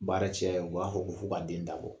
Baara cɛya u b'a fɔ ko f'u ka den dabɔ.